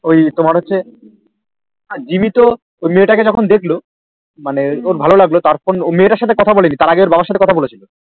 ওই তোমার হচ্ছে জিম্মি তো ওই মেয়ে তাকে যখন দেখহল মানে তার ভালো লাগলো তারপর ও মেয়েটার এতে কথা বলেনি তারপর তাই ওর বাবার সাথে কথা বলেছিলো